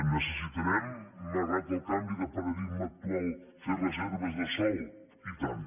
necessitarem malgrat el canvi de paradigma actual fer reserves de sòl i tant